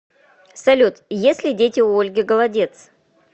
салют есть ли дети у ольги голодец